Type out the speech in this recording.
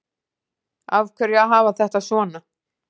Af hverju að hafa þetta svona